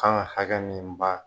kan ka hakɛ min ba